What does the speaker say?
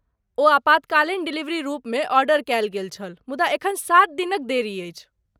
ओ आपातकालीन डिलीवरी रूपमे ऑर्डर कयल गेल छल मुदा एखन सात दिनक देरी अछि।